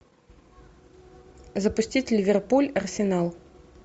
запустить ливерпуль арсенал